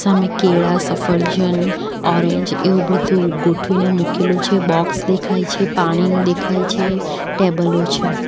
હામે કેળા સફરજન ઓરેન્જ એવું બધું ગોઠવીને મૂકેલું છે બોક્સ દેખાય છે પાણીનું દેખાય છે ટેબલો છે.